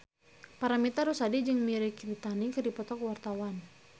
Paramitha Rusady jeung Mirei Kiritani keur dipoto ku wartawan